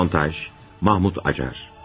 Montaj, Mahmud Acar.